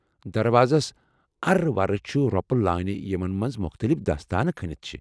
دروازس ارٕ ورٕ چھِ روپہٕ لٲنہٕ یِمن منٛز مُختلِف دٲستانہٕ كھنِتھ چھے٘ ۔